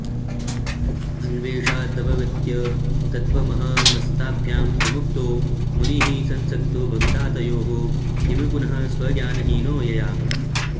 अन्वेषादवगत्य तत्त्वमहमस्ताभ्यां विमुक्तो मुनिः संसक्तो भविता तयोः किमु पुनः स्वज्ञानहीनो यया